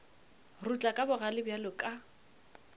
rutla ka bogale bjalo ka